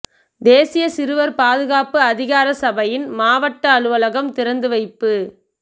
தேசிய சிறுவர் பாதுகாப்பு அதிகார சபையின் மாவட்ட அலுவலகம் திறந்து வைப்பு